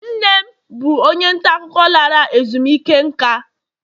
nne m bụ onye nta akụkọ lara ezumike nka